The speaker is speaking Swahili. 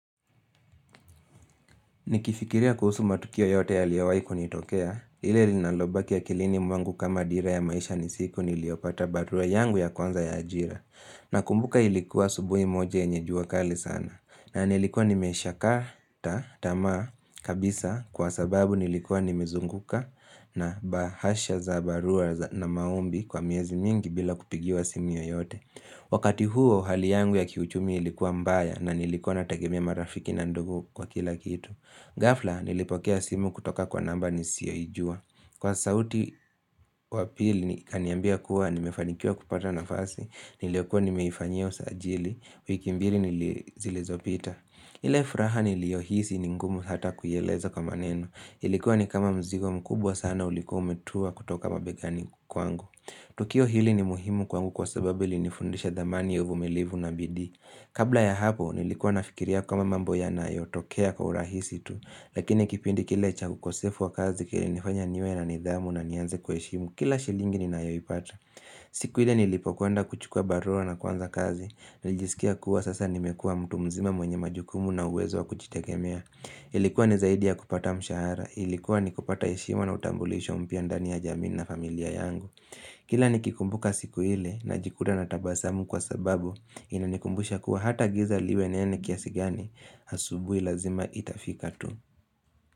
Nikifikiria kuhusu matukio yote yaliowai kunitokea, lile linalobaki ya akilini mwangu kama dira ya maisha ni siku niliyopata barua yangu ya kwanza ya ajira. Nakumbuka ilikuwa asubuhi moja yenye jua kali sana. Nanilikuwa nimesha kata tamaa, kabisa kwa sababu nilikuwa nimezunguka na bahasha za barua na maombi kwa miezi mingi bila kupigiwa simu yoyote. Wakati huo hali yangu ya kiuchumi ilikuwa mbaya na nilikuwa nategemea marafiki na ndugu kwa kila kitu. Ghafla, nilipokea simu kutoka kwa namba nisiyoijua. Kwa sauti wapili, kaniambia kuwa, nimefanikia kupata nafasi, niliyo kuwa nimeifanyia usajili, wiki mbili nili zilizopita. Ile furaha niliohisi ningumu hata kuieleza kwa maneno. Ilikuwa ni kama mzigo mkubwa sana ulikuwa umetua kutoka mabegani kwangu. Tukio hili ni muhimu kwangu kwa sababu ilinifundisha dhamani ya uvumilivu na bidii. Kabla ya hapo, nilikuwa nafikiria kama mambo yanayo tokea kwa urahisi tu Lakini kipindi kile cha ukosefu wa kazi kilinifanya niwe na nidhamu na nianze kuheshimu Kila shilingi ninayoipata siku ile nilipo kwenda kuchukua barua na kuanza kazi nijisikia kuwa sasa nimekua mtu mzima mwenye majukumu na uwezo wa kujitegemea Ilikuwa ni zaidi ya kupata mshahara Ilikuwa ni kupata heshima na utambulisho mpya ndani ya jamii na familia yangu Kila nikikumbuka siku ile najikuta natabasamu kwa sababu Inanikumbusha kuwa hata giza liwe nene kiasi gani Asubuhi lazima itafika tu.